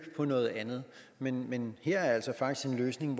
på noget andet men men her er altså faktisk en løsning